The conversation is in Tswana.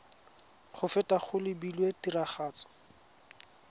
go feta go lebilwe tiragatso